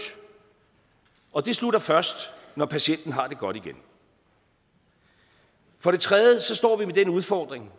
og det slutter først når patienten har det godt igen den tredje udfordring